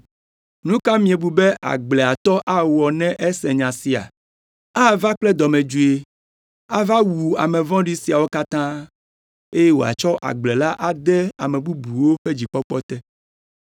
“Nu ka miebu be agbleatɔ awɔ ne ese nya sia? Ava kple dɔmedzoe, ava wu ame vɔ̃ɖi siawo katã, eye wòatsɔ agble la ade ame bubuwo ƒe dzikpɔkpɔ te.